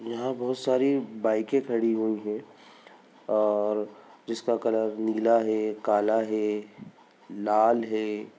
यहाँ बहुत सररी बाइके खड़ी है और जिसका कलर नीला है काला है लाल है।